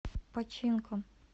починком